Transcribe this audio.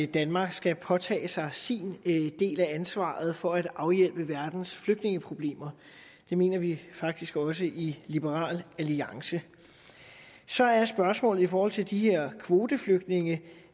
danmark skal påtage sig sin del af ansvaret for at afhjælpe verdens flygtningeproblemer det mener vi faktisk også i liberal alliance så er spørgsmålet i forhold til de her kvoteflygtninge